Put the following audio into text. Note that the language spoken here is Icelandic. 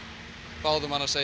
báðum hann að segja